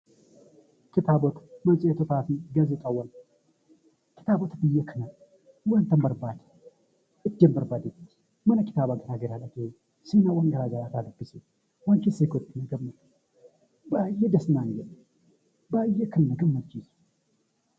Kitaabota, matseetii faa fi gaazexaawwan Kitaabota biyya kanaa wantan barbaade iddoon barbaade tti mana kitaabaa garaa garaa dhaqee sirnawwan garaa garaa irraa dubbisee waan keessa kootti tole baay'ee das naan jedhy baay'ee kan na gammachiisu